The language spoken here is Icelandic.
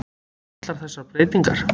allar þessar breytingar.